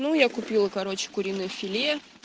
ну я купила короче куриное филе